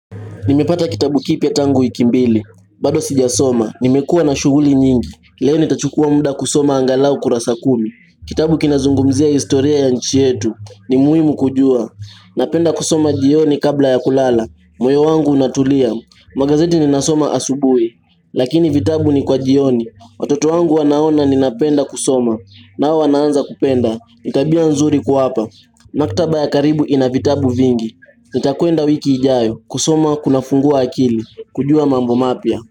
Nimepata kitabu kipya tangu wiki mbili, bado sijasoma, nimekuwa na shughuli nyingi, leo nitachukua muda kusoma angalau kurasa kumi, kitabu kinazungumzia historia ya nchi yetu, ni muhimu kujua, napenda kusoma jioni kabla ya kulala, moyo wangu unatulia, magazeti ninasoma asubui, lakini vitabu ni kwa jioni, watoto wangu wanaona ninapenda kusoma, nao wanaanza kupenda, ni tabia nzuri kuwapa, maktaba ya karibu ina vitabu vingi, nitakuenda wiki ijayo, kusoma kunafungua akili kujua mambo mapya.